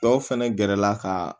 Dɔw fɛnɛ gɛrɛla ka